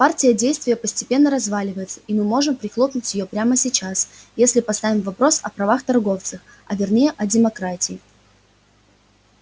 партия действия постепенно разваливается и мы можем прихлопнуть её прямо сейчас если поставим вопрос о правах торговцев а вернее о демократии